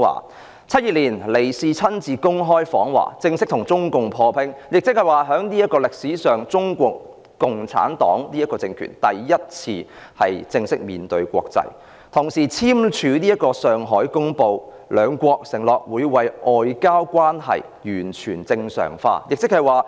1972年，尼克遜親自公開訪華，正式與中共破冰，是歷史上中國共產黨政權第一次正式面對國際，同時簽署《上海公報》，兩國承諾為外交關係完全正常化。